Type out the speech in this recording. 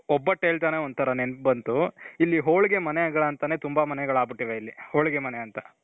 ಒಬ್ಬಟ್ಟು ಹೇಳ್ತಾನೆ ಒಂತರಾ ನೆನಪು ಬಂತು. ಇಲ್ಲಿ ಹೋಳಿಗೆ ಮನೆಗಳು ಅಂತನೆ ತುಂಬಾ ಮನೆಗಳು ಆಗ್ಬಿಟ್ಟಿವೆ ಇಲ್ಲಿ, ಹೋಳಿಗೆ ಮನೆ ಅಂತ.